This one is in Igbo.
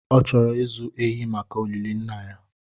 Ọ chọrọ ịzụ ehi maka olili nna ya